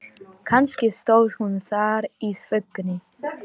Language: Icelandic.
Kannski stóð hún þar í þvögunni.